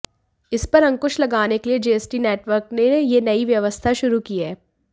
इस पर अंकुश लगाने के लिये जीएसटी नेटवर्क ने यह नई व्यवस्था शुरू की है